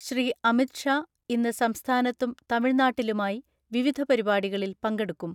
ശ്രീ. അമിത് ഷാ ഇന്ന് സംസ്ഥാനത്തും തമിഴ്നാട്ടിലുമായി വിവിധ പരിപാടികളിൽ പങ്കെടുക്കും.